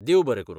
देव बरें करूं.